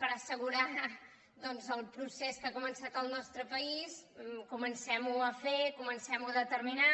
per assegurar doncs el procés que ha començat el nostre país comencem·ho a fer comen·cem·ho a determinar